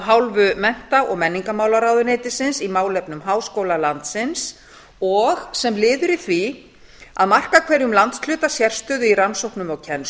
hálfu mennta og menningarmálaráðuneytisins í málefnum háskóla landsins og sem liður í því að marka hverjum landshluta sérstöðu í rannsóknum og